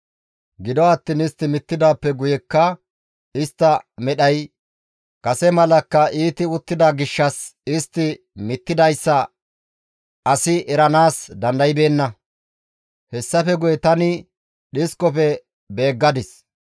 Gido attiin istti mittidaappe guyekka istta medhay kase malakka iiti uttida gishshas istti mittidayssa asi eranaas dandaybeenna. Hessafe guye tani dhiskofe beeggadis.